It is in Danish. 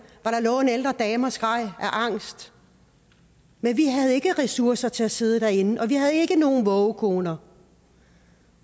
hvor der lå en ældre dame og skreg af angst men vi havde ikke ressourcer til at sidde derinde og vi havde ikke nogen vågekoner